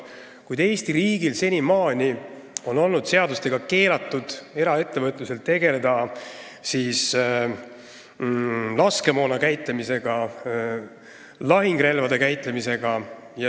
Kuid Eesti riigis on senimaani olnud seadustega keelatud tegeleda eraettevõtluses laskemoona ja lahingurelvade käitlemisega.